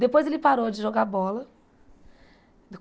Depois ele parou de jogar bola.